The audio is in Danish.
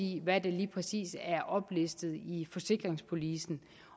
i hvad der lige præcis er oplistet i forsikringspolicen